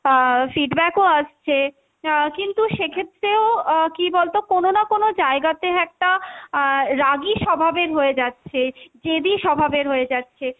আহ feedback ও আসছে আহ কিন্তু সেক্ষেত্রেও আহ কী বলতো কোনো না কোনো জায়গাতে একটা আহ রাগী স্বভাবের হয়ে যাচ্ছে, জেদী স্বভাবের হয়ে যাচ্ছে,